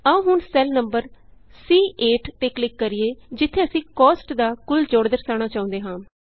ਆਉ ਹੁਣ cell number C8ਤੇ ਕਲਿਕ ਕਰੀਏ ਜਿਥੇ ਅਸੀਂ ਕੋਸਟ ਦਾ ਕੁਲ ਜੋੜ ਦਰਸਾਉਣਾ ਚਾਹੁੰਦੇ ਹਾਂ